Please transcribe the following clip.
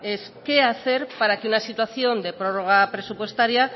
es qué hacer para que una situación de prórroga presupuestaria